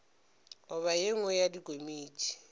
goba ye nngwe ya dikomiti